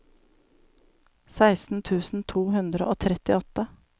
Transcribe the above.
seksten tusen to hundre og trettiåtte